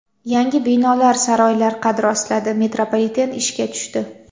Yangi binolar, saroylar qad rostladi, metropoliten ishga tushdi.